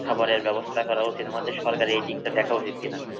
খাবারের ব্যবস্থা করা উচিৎ। আমাদের সরকারের এদিকটা দেখা উচিৎ কিনা?